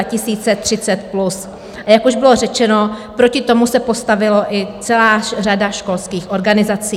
A jak už bylo řečeno, proti tomu se postavila i celá řada školských organizací.